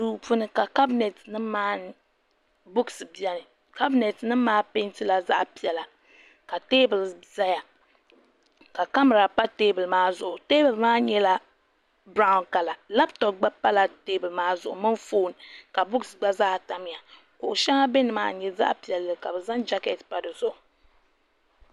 duu puuni ka kabinɛt ni buku nim biɛni kabinɛt nim maa peentila zaɣ piɛla ka teebuli ʒɛya ka kamɛra pa teebuli maa zuɣu teebuli maa nyɛla biraawn kala labtop gba pala teebuli maa zuɣu mini foon ka buks gba zaa tamya kuɣu shɛŋa bɛ nimaani n nyɛ zaɣ piɛlli ka bi zaŋ jɛkɛt pa dizuɣu